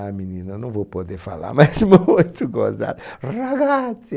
Ah, menino, eu não vou poder falar (risso), mas muito gozado. Ragazzi